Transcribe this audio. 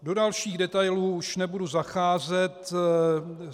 Do dalších detailů už nebudu zacházet.